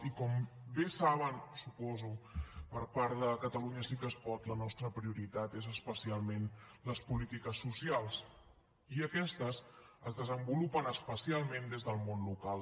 i com bé saben ho suposo per part de catalunya sí que es pot la nostra prioritat són especialment les polítiques socials i aquestes es desenvolupen especialment des del món local